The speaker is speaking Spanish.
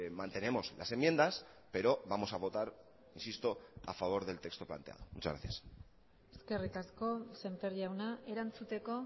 mantenemos las enmiendas pero vamos a votar insisto a favor del texto planteado muchas gracias eskerrik asko sémper jauna erantzuteko